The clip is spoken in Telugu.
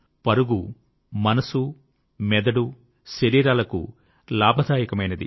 పరుగు మనసు మెదడు శరీరాలకు లాభదాయకమైనది